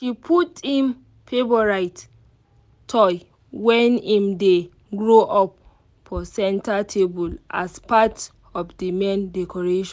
im put im favourite toy when im dey grow up for centre table as parrt of the main decoration